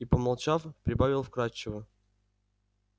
и помолчав прибавил вкрадчиво